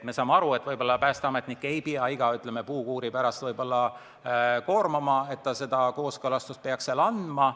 Me saame aru, et päästeametnikku ei pea iga puukuuri pärast koormama, ta ei pea seda kooskõlastust andma.